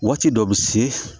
Waati dɔ bɛ se